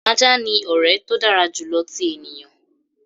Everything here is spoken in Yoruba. "Ajá ni ọrẹ to dara julọ ti eniyan."